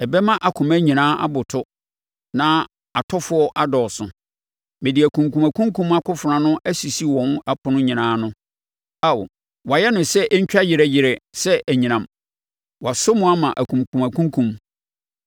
Ɛbɛma akoma nyinaa aboto na atɔfoɔ adɔɔso, mede akunkumakunkum akofena no asisi wɔn apono nyinaa ano. Ao! Wɔayɛ no sɛ ɛntwa yerɛ yerɛ sɛ anyinam wɔaso mu ama akumkumakumkum.